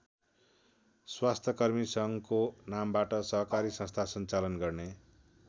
स्वास्थ्यकर्मी सङ्घको नामबाट सहकारी सस्था सञ्चालन गर्ने।